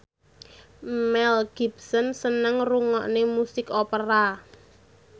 Mel Gibson seneng ngrungokne musik opera